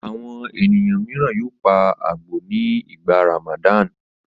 Àwọn ènìyàn mìíràn yóò pa àgbò nígbà Ramadan.